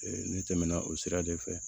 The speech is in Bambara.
ne tɛmɛna o sira de fɛ